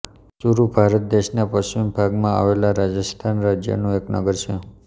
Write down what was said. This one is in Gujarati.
ચુરુ ભારત દેશના પશ્ચિમ ભાગમાં આવેલા રાજસ્થાન રાજ્યનું એક નગર છે